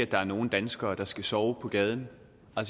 der er nogen danskere der skal sove på gaden